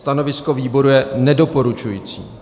Stanovisko výboru je nedoporučující.